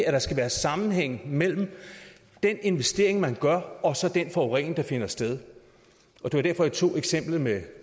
at der skal være sammenhæng mellem den investering man gør og så den forurening der finder sted og det var derfor jeg tog eksemplet med